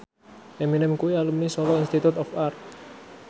Eminem kuwi alumni Solo Institute of Art